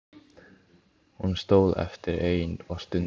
Hún stóð eftir ein og stundi.